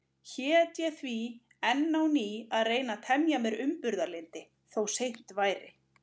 Hét ég því enn á ný að reyna að temja mér umburðarlyndi, þó seint væri.